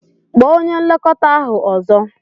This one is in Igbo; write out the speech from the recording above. Kpọọ onye nlekọta ahu ọzọ!